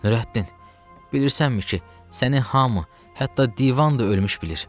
Nurəddin, bilirsənmi ki, səni hamı, hətta divan da ölmüş bilir.